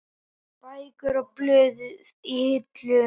Bækur og blöð í hillum.